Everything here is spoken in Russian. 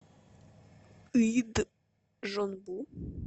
ыйджонбу